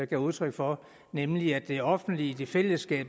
gav udtryk for nemlig at det offentlige det fælles